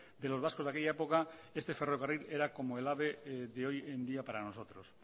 de los vascos de aquella época este ferrocarril era como el ave de hoy en día para nosotros